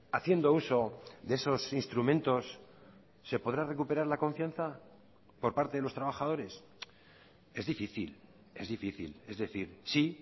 haciendo uso de esos instrumentos se podrá recuperar la confianza por parte de los trabajadores es difícil es difícil es decir sí